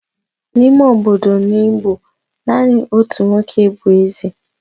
n'ime obodo n'Igbo, naanị otu nwoke bụ eze